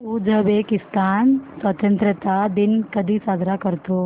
Uzbekistan स्वतंत्रता दिन कधी साजरा करतो